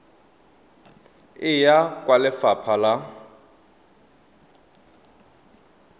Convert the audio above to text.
e ya kwa lefapha la